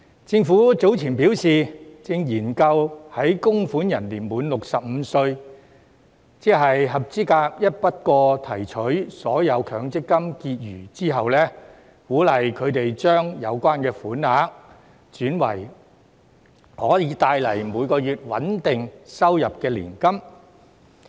政府早前表示正研究在供款人年滿65歲，即合資格一筆過提取所有強積金結餘之後，鼓勵他們將有關款額轉為可以帶來每個月穩定收入的年金。